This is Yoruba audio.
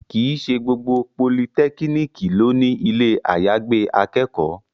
Kì í ṣe gbogbo politẹ́kíníkì ló ní ilé àyàgbé akẹ́kọ̀ọ́